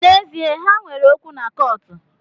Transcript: N’ezie, ha nwere okwu na kọọtụ